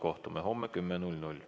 Kohtume homme kell 10.